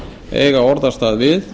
eiga orðastað við